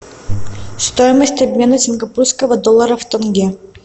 стоимость обмена сингапурского доллара в тенге